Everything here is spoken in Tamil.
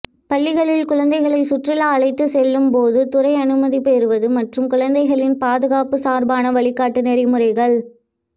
பள்ளிகளில் குழந்தைகளை சுற்றுலா அழைத்து செல்லும் போது துறை அனுமதி பெறுவது மற்றும் குழந்தைகளின் பாதுகாப்பு சார்பான வழிகாட்டு நெறிமுறைகள்